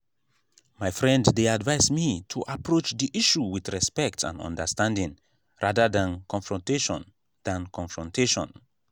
my friend dey advise me to approach the issue with respect and understanding rather than confrontation. than confrontation.